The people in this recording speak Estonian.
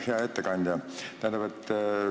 Hea ettekandja!